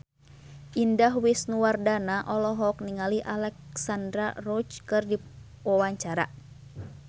Indah Wisnuwardana olohok ningali Alexandra Roach keur diwawancara